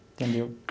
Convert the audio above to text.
Entendeu?